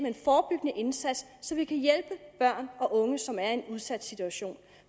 en forebyggende indsats så vi kan hjælpe børn og unge som er i en udsat situation